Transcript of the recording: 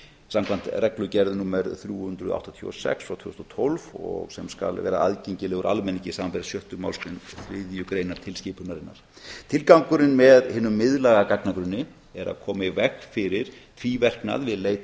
samkvæmt reglugerð númer þrjú hundruð áttatíu og sex tvö þúsund og tólf og sem skal vera aðgengilegur almenningi samanber sjöttu málsgrein þriðju greinar tilskipunarinnar tilgangurinn með hinum miðlæga gagnagrunni er að koma í veg fyrir tvíverknað við leit